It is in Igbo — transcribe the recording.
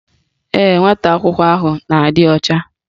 Ee, nwata akwụkwọ ahụ na-adị ọcha